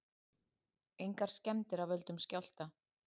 Engar skemmdir af völdum skjálfta